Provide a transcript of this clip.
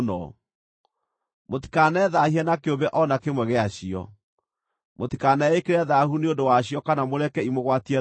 Mũtikanethaahie na kĩũmbe o na kĩmwe gĩacio. Mũtikaneĩkĩre thaahu nĩ ũndũ wacio kana mũreke imũgwatie thaahu.